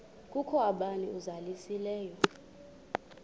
kukho bani uzalusileyo